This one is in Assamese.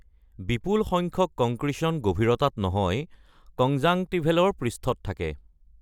কংক্ৰিচনৰ বিপুল সংখ্যক গভীৰতাত নহয়, কনজাংটিভেলৰ পৃষ্ঠত থাকে।